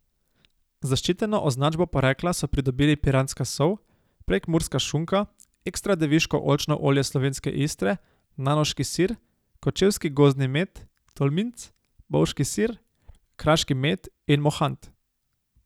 Zaščiteno označbo porekla so pridobili piranska sol, prekmurska šunka, ekstra deviško oljčno olje Slovenske Istre, nanoški sir, kočevski gozdni med, tolminc, bovški sir, kraški med in mohant.